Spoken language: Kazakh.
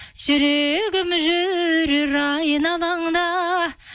жүрегім жүрер айналаңда